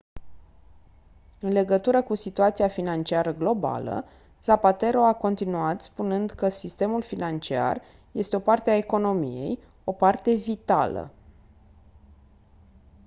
în legătură cu situația financiară globală zapatero a continuat spunând că «sistemul financiar este o parte a economiei o parte vitală.»